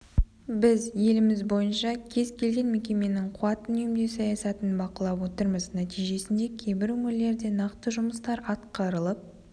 біз еліміз бойынша кез-келген мекеменің қуат үнемдеу саясатын бақылап отырмыз нәтижесінде кейбір өңірлерде нақты жұмыстар атқарылып